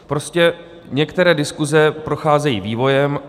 Prostě některé diskuse procházejí vývojem.